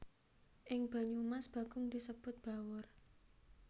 Ing Banyumas Bagong disebut Bawor